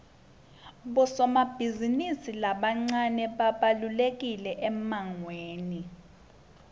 bosomabhizimisi labancane babalulekile emangweni